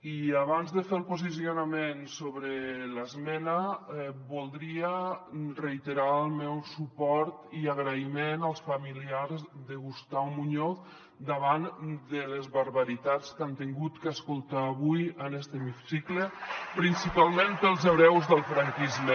i abans de fer el posicionament sobre l’esmena voldria reiterar el meu suport i agraïment als familiars de gustau muñoz davant de les barbaritats que han hagut d’escoltar avui en este hemicicle principalment pels hereus del franquisme